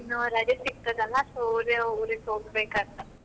ಇನ್ನು ರಜೆ ಸಿಕ್ತದೆ ಅಲಾ so ಆಗ ಊರಿಗೆ ಹೋಗ್ಬೇಕಂತ.